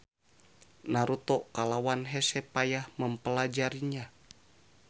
Naruto kalawan hese payah mempelajarinya.